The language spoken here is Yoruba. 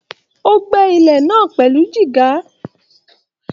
O gbẹ́ ilẹ̀ náà pẹlú dígá.